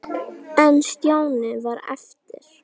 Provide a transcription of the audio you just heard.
En Stjáni varð eftir.